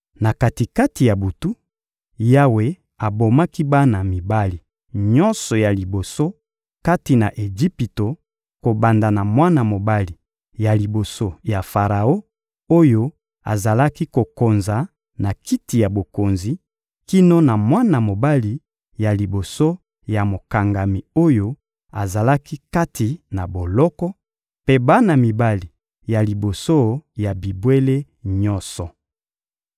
Na kati-kati ya butu, Yawe abomaki bana mibali nyonso ya liboso kati na Ejipito kobanda na mwana mobali ya liboso ya Faraon oyo azalaki kokonza na kiti ya bokonzi kino na mwana mobali ya liboso ya mokangami oyo azalaki kati na boloko, mpe bana mibali ya liboso ya bibwele nyonso.